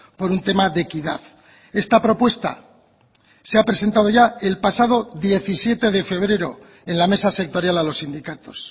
por un tema de equidad esta propuesta se ha presentado ya el pasado diecisiete de febrero en la mesa sectorial a los sindicatos